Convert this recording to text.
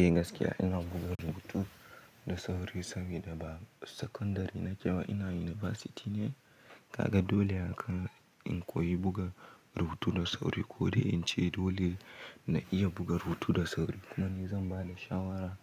Eh gaskiya ina buga rubutu da sauri sabida ba sakandare na kyau ina yunibasiti ne. Kaga dole haka in koyi buga rubutu da sauri, ko dai in ce dole na iya buga rubutu da sauri. Kuma ni zan ba da shawara,